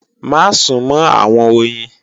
Má súnmọ́ àwọn oyin!